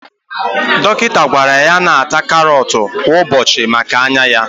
Dọkịta gwara ya na ata karọt kwa ụbọchị maka anya ya